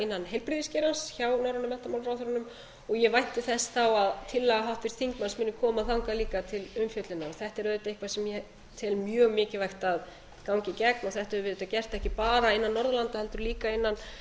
heilbrigðisgeirans hjá norrænu menntamálaráðherrunum ég vænti þess að tillaga háttvirts þingmanns muni koma þangað líka til umfjöllunar þetta er auðvitað eitthvað sem ég tel mjög mikilvægt að ganga í gegn þetta höfum við auðvitað gert ekki bara innan norðurlanda heldur líka